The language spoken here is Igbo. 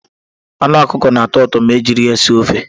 Anu Ọkụkọ na-atọ ụtọ ma ejiri ya sie ofe.